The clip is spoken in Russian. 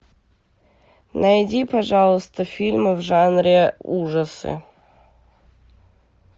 найди пожалуйста фильмы в жанре ужасы